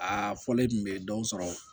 Aa fɔlen tun bɛ dɔw sɔrɔ